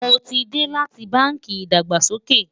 mó tí dé láti bánkì ìdàgbàsókè